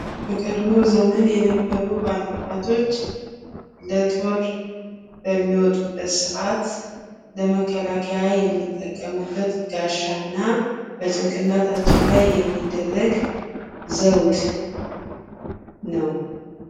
በቀድሞ ዘመን የነበሩ ባለ አባቶች ለጦር በሚወጡበት ሰዓት ለመከላከያ የሚጠቀሙበት ጋሻ እና በጭንቅላታቸው ላይ የሚደረግ ዘውድ ነው ።